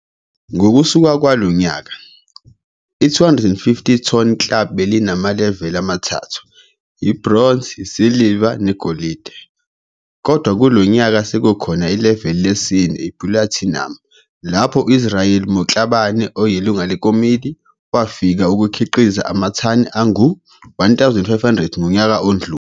Ngokusuka kwalo nyaka, i250 Ton Club belinamaleveli amathathu - ibhronzi, isiliva, negolidi - kodwa lo nyaka sekukhona ileveli lesine, ipulatinumu, lapho uIsrael Motlhabane, oyilunga lekomidi, wafika ukukhiqiza amathani angu-1500 ngonyaka odlule.